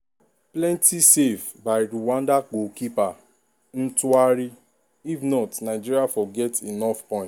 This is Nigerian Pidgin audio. plenti save by rwanda goalkeeper ntwari if not nigeria for get enough point.